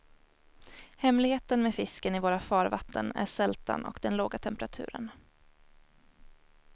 Hemligheten med fisken i våra farvatten är sältan och den låga temperaturen.